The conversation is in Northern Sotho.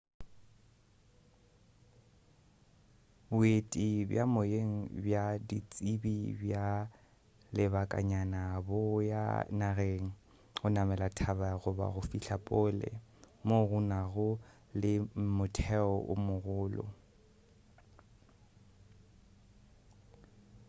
boeti bja moyeng bja ditsebi bja lebakanyana bo ya nageng go namela thaba goba go fihla pole moo go nago le motheo o mogolo